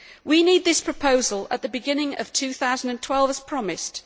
We need this proposal at the beginning of 2012, as promised.